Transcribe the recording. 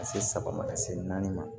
Ka se saba ma ka se naani ma